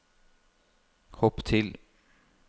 hopp til